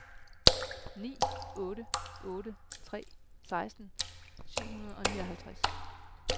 ni otte otte tre seksten syv hundrede og nioghalvtreds